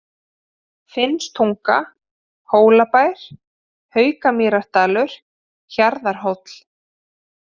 Finnstunga, Hólabær, Haukamýrardalur, Hjarðarhóll